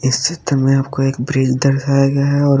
इस चित्र में आपको एक ब्रिज दर्शाया गया है और--